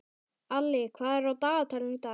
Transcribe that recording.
Alli, hvað er á dagatalinu í dag?